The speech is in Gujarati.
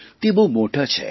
તે બહુ મોટાં છે